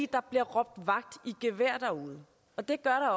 der bliver råbt vagt i gevær derude det gør